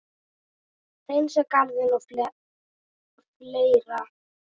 Hreinsa garðinn og fleira.